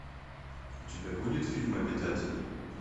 у тебя будет фильм обитатели